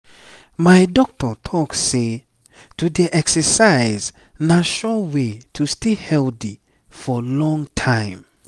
my doctor talk say to dey exercise na sure way to stay healthy for long time.